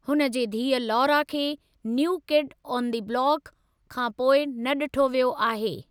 हुन जे धीअ लौरा खे 'new kid on the block' खां पोइ न ॾिठो वियो आहे।